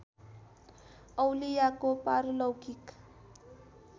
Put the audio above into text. औलियाको पारलौकिक